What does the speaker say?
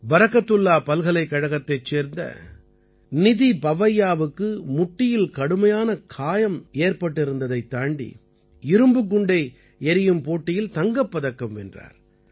பரக்கத்துல்லா பல்கலைக்கழகத்தைச் சேர்ந்த நிதி பவைய்யாவுக்கு முட்டியில் கடுமையான காயம் ஏற்பட்டிருந்ததைத் தாண்டி இரும்புக் குண்டை எறியும் போட்டியில் தங்கப்பதக்கம் வென்றார்